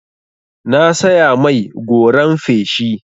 Na saya mai goran feshi.